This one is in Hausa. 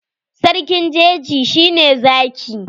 Sarkin jeji shi ne Zaki.